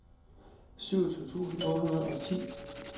syvogtyve tusind otte hundrede og ti